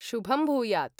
शुभं भूयात्।